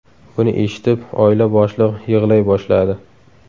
Buni eshitib, oila boshlig‘i yig‘lay boshladi.